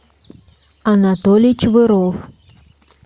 анатолий чвыров